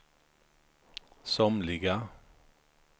somliga